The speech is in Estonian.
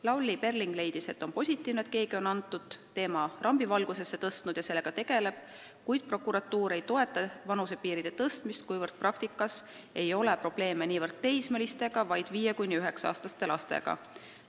Lavly Perling leidis olevat positiivse, et keegi on selle teema rambivalgusesse tõstnud ja sellega tegeleb, kuid prokuratuur ei toeta vanusepiiride tõstmist, kuna praktikas ei ole probleeme niivõrd teismelistega, kuivõrd 5–9-aastaste lastega.